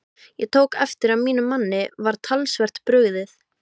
Ég tók eftir að mínum manni var talsvert brugðið.